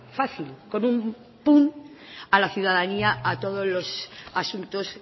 fácil con un a la ciudadanía a todos los asuntos